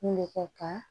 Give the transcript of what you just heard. Kun bɛ kɛ ka